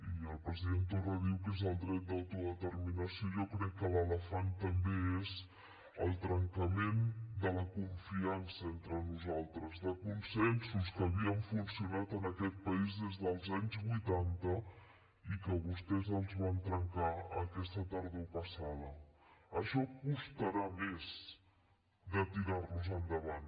i el president torra diu que és el dret d’autodeterminació i jo crec que l’elefant també és el trencament de la confiança entre nosaltres de consensos que havien funcionat en aquest país des dels anys vuitanta i que vostès els van trencar aquesta tardor passada això costarà més de tirar los endavant